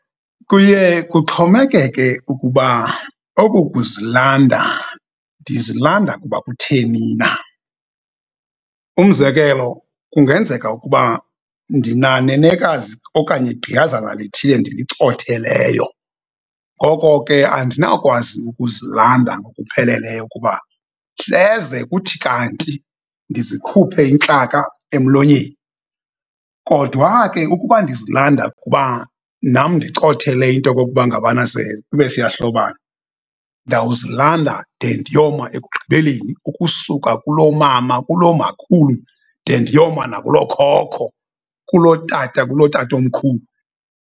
Kuye kuxhomekeke ukuba oku kuzilanda ndizilanda kuba kutheni na. Umzekelo, kungenzeka ukuba ndinanenekazi okanye gqiyazana lithile ndilicotheleyo, ngoko ke andinawukwazi ukuzilanda kupheleleyo kuba hleze kuthi kanti ndizikhuphe intlaka emlonyeni. Kodwa ke ukuba ndizilanda kuba nam ndicothele into yokokuba ngabana ze ibe siyahlobana, ndawuzilanda de ndiyoma ekugqibeleni ukusuka kulomama, kulomakhulu de ndiyoma nakulokhokho, kulotata, kulotatomkhulu.